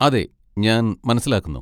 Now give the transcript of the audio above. അതെ, ഞാൻ മനസ്സിലാക്കുന്നു.